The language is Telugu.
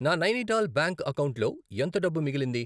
నా నైనిటాల్ బ్యాంక్ అకౌంటులో ఎంత డబ్బు మిగిలింది?